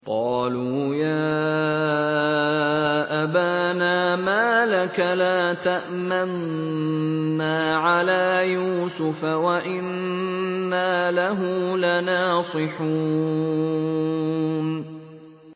قَالُوا يَا أَبَانَا مَا لَكَ لَا تَأْمَنَّا عَلَىٰ يُوسُفَ وَإِنَّا لَهُ لَنَاصِحُونَ